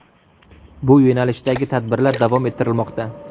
Bu yo‘nalishdagi tadbirlar davom ettirilmoqda.